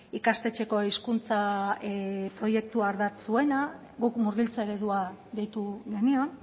ikastetxeko hizkuntza proiektua ardatz zuena guk murgiltze eredua deitu genion